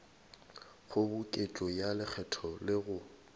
kgoboketšo ya lekgetho le go